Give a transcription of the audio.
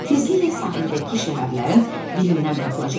Tezliklə sahildəki şəhərlərin birindən tapılacaqlar.